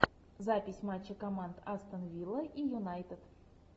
запись матча команд астон вилла и юнайтед